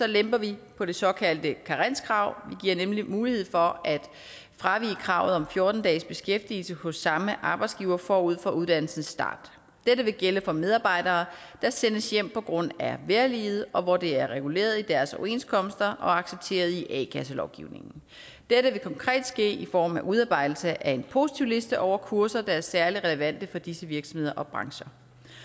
lemper vi på det såkaldte karenskrav vi giver nemlig mulighed for at fravige kravet om fjorten dages beskæftigelse hos samme arbejdsgiver forud for uddannelsens start dette vil gælde for medarbejdere der sendes hjem på grund af vejrliget og hvor det er reguleret i deres overenskomster og accepteret i a kasselovgivningen dette vil konkret ske i form af udarbejdelse af en positivliste over kurser der er særlig relevante for disse virksomheder og brancher